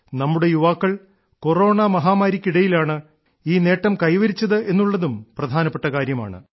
നമ്മുടെ യുവാക്കൾ കൊറോണ മഹാമാരിയ്ക്കിടയിലാണ് ഈ നേട്ടം കൈവരിച്ചെന്നുള്ളതും പ്രധാനപ്പെട്ട കാര്യമാണ്